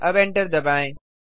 अब एंटर दबाएँ